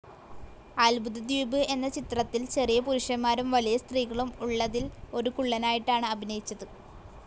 അത്ഭുതദ്വീപ് എന്ന ചിത്രത്തിൽ ചെറിയ പുരുഷന്മാരും വലിയ സ്ത്രീകളും ഉള്ളതിൽ ഒരു കുള്ളനായിട്ടാണ് അഭിനയിച്ചത്.